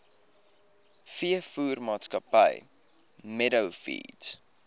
veevoermaatskappy meadow feeds